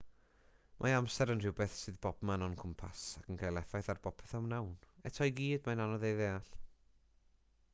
mae amser yn rhywbeth sydd bobman o'n cwmpas ac yn cael effaith ar bopeth a wnawn eto i gyd mae'n anodd ei ddeall